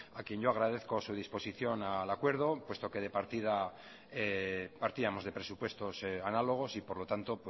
a quien yo agradezco su disposición al acuerdo puesto que partíamos conpresupuestos análogos por lo tanto